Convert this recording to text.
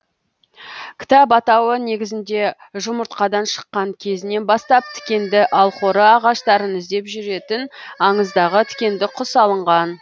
кітап атауы негізіне жұмыртқадан шыққан кезінен бастап тікенді алхоры ағаштарын іздеп жүретін аңыздағы тікенді құс алынған